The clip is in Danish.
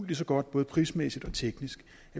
lige så godt både prismæssigt og teknisk